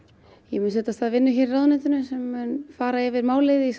ég mun setja af stað vinnu hér í ráðuneytinu sem mun fara yfir málið í